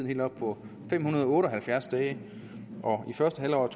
helt oppe på fem hundrede og otte og halvfjerds dage og i første halvår af